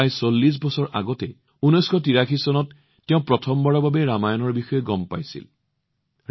প্ৰায় ৪০ বছৰ পূৰ্বে ১৯৮৩ চনত তেওঁ প্ৰথমবাৰৰ বাবে ৰামায়ণৰ বিষয়ে জানিব পাৰিছিল